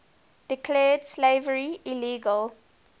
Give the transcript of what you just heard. declared slavery illegal